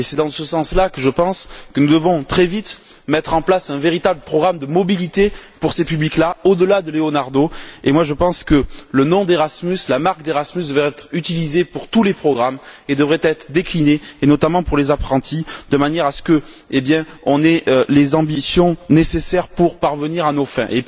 Et c'est dans ce sens là, je pense, que nous devons très vite mettre en place un véritable programme de mobilité pour ces publics là, au delà du programme Leonardo. Je pense que le nom d'Erasmus, la marque d'Erasmus, devraient être utilisés pour tous les programmes et être déclinés, notamment pour les apprentis, de manière à ce qu'on ait les ambitions nécessaires pour parvenir à nos fins.